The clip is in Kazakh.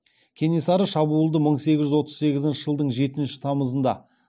кенесары шабуылды мың сегіз жүз отыз сегізінші жылдың жетінші тамызында